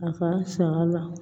A ka sɔ la